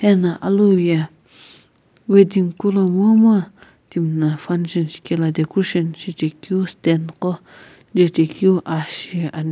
ena alou ye wedding kula momu timina function shikela decrotion shichekeu stand qo jechekeu aa shiani.